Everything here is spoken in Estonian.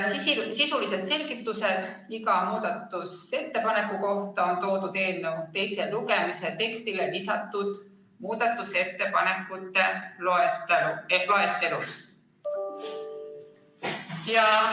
Sisulised selgitused iga muudatusettepaneku kohta on esitatud eelnõu teise lugemise tekstile lisatud muudatusettepanekute loetelus.